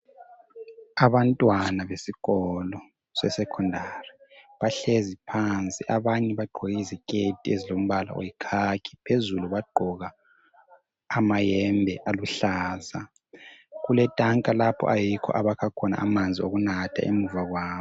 Abantwana besikolo sesekhondari bahlezi phansi, abanye bagqoke iziketi ezilombala oyikhakhi phezulu bagqoka amayembe aluhlaza. Kuletanka lapho ayikho abakha khona amanzi okunatha emuva kwabo.